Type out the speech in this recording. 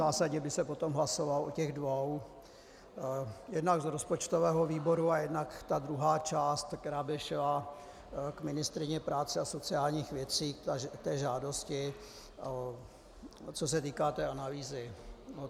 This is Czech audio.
Zásadně by se potom hlasovalo o těch dvou, jednak z rozpočtového výboru a jednak ta druhá část, která by šla k ministryni práce a sociálních věcí, k té žádosti, co se týká té analýzy.